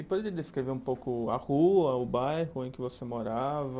E poderia descrever um pouco a rua, o bairro em que você morava?